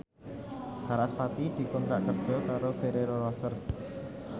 sarasvati dikontrak kerja karo Ferrero Rocher